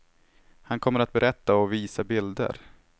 Han kommer att berätta och visa bilder.